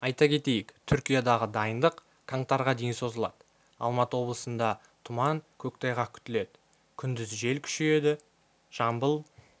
айта кетейік түркиядағы дайындық қаңтарға дейін созылады алматы облысында тұман көктайғақ күтіледі күндіз жел күшейеді жамбыл